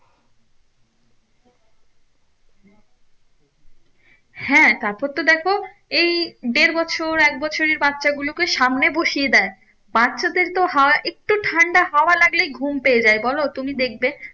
হ্যাঁ তারপর তো দেখো এই দেড় বছর এক বছরের বাচ্ছা গুলোকে সামনে বসিয়ে দেয় বাচ্ছাদের তো হাওয়া একটু ঠান্ডা হাওয়া লাগলেই ঘুম পেয়ে যায় বলো, তুমি দেখবে